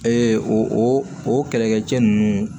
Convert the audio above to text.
Ee o o kɛlɛkɛcɛ ninnu